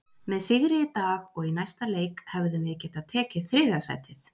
Með sigri í dag og í næsta leik hefðum við getað tekið þriðja sætið.